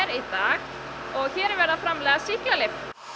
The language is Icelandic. í dag og hér er verið að framleiða sýklalyf